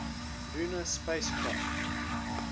lunar spacecraft